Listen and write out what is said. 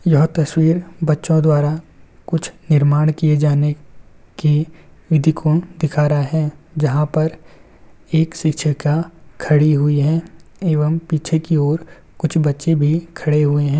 यह तस्वीर बच्चों द्वारा कुछ निर्माण किए जाने की विधि को दिखा रहा है जहां पर एक शिछिका खरी हुयी है एवं पीछे की और कुछ बच्चे भी खड़े हुए हैं।